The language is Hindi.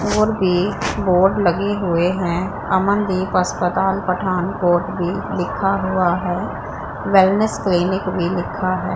और भी बोर्ड लगे हुए हैं अमनदीप अस्पताल पठानकोट भी लिखा हुआ है वैलनेस क्लिनिक भी लिखा है।